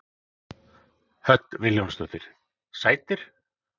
Hödd Vilhjálmsdóttir: Sætir?